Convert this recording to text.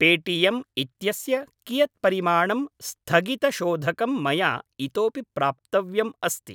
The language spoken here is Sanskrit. पेटियेम् इत्यस्य कियत् परिमाणं स्थगितशोधकं मया इतोऽपि प्राप्तव्यम् अस्ति?